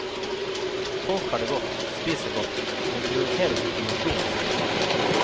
Folk har det godt, spiser godt, men prioriterer ikke mosjon i særlig grad.